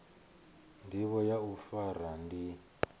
ndivho ya u fara ndi